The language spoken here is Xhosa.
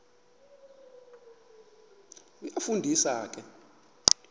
iyafu ndisa ke